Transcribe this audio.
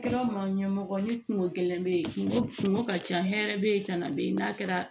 A kɛra maɲɛ mɔgɔ ye ni kungo gɛlɛn bɛ yen kungo kungo ka ca hɛrɛ bɛ ye kana bɛyi n'a kɛra